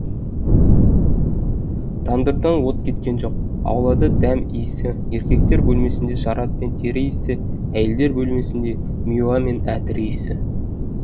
тандырдан от кеткен жоқ аулада дәм иісі еркектер бөлмесінде шарап пен тер иісі әйелдер бөлмесінде миуа мен әтір иісі